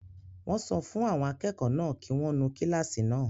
Wọ́n sọ fún àwọn akẹ́kọ̀ọ́ náà kí wọ́n nu kílásì náà